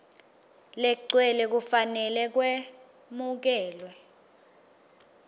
legcwele kufanele kwemukelwe